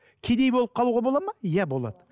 кедей болып қалуға болады ма иә болады